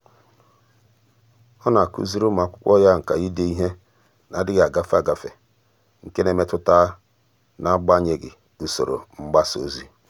ọ́ nà-ákụ́zị́rị́ ụ́mụ́ ákwụ́kwọ́ yá nkà ídé ìhè nà-adị́ghị́ ágafe ágafe nke nà-èmètụ́tà n’ágbànyéghị́ usoro mgbásà ózị́.